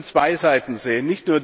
Wir müssen zwei Seiten sehen.